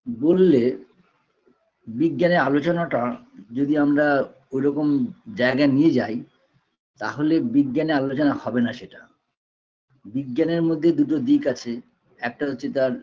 বললে বিজ্ঞানের আলোচনাটা যদি আমরা ঐরকম জায়গায় নিয়ে যাই তাহলে বিজ্ঞানের আলোচনা হবে না সেটা বিজ্ঞানের মধ্যে দুটো দিক আছে একটা হচ্ছে তার